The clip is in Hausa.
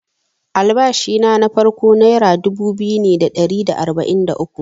Albashina na farko nera dubu biyu ne da ɗari da arba’in da uku.